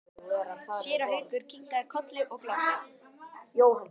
Séra Haukur kinkaði kolli og glotti.